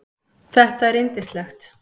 Þetta er yndislegt